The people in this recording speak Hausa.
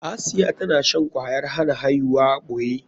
Asiya tana shan kwayar hana aihuwa a ɓoye.